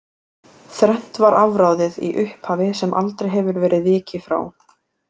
Þrennt var afráðið í upphafi sem aldrei hefur verið vikið frá.